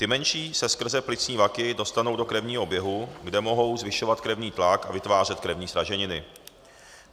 Ty menší se skrze plicní vaky dostanou do krevního oběhu, kde mohou zvyšovat krevní tlak a vytvářet krevní sraženiny.